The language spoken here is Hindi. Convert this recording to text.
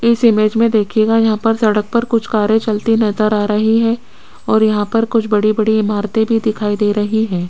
इस इमेज में देखिएगा यहां पर सड़क पर कुछ कारें चलती नजर आ रही है और यहां पर कुछ बड़ी-बड़ी इमारतें भी दिखाई दे रही हैं।